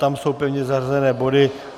Tam jsou pevně zařazené body.